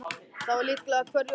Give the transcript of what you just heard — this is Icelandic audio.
Það var líka hverju orði sannara.